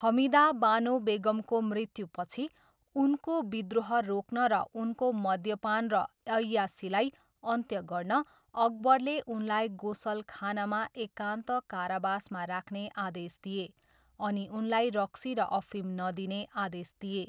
हमिदा बानो बेगमको मृत्युपछि, उनको विद्रोह रोक्न र उनको मद्यपान र ऐयासीलाई अन्त्य गर्न, अकबरले उनलाई गोसलखानामा एकान्त करावासमा राख्ने आदेश दिए अनि उनलाई रक्सी र अफिम नदिने आदेश दिए।